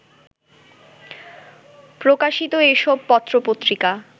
প্রকাশিত এসব পত্রপত্রিকা